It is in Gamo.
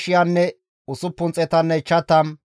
Yooseefe naa Efreeme zarkkefe 40,500,